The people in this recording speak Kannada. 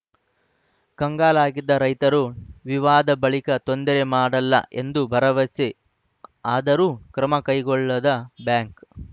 ಕಂಗಾಲಾಗಿದ್ದ ರೈತರು ವಿವಾದ ಬಳಿಕ ತೊಂದರೆ ಮಾಡಲ್ಲ ಎಂದು ಭರವಸೆ ಆದರೂ ಕ್ರಮ ಕೈಗೊಳ್ಳದ ಬ್ಯಾಂಕ್‌